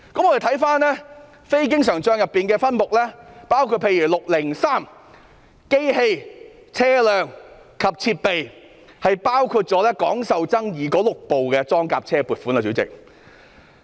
我們看非經營帳目的分目，包括分目 603， 當中包括廣受爭議的6部裝甲車的撥款。